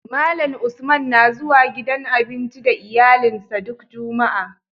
Malan Usman na zuwa gidan abinci da iyalin sa duk jumaa